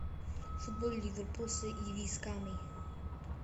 футбол ливерпуль с ирисками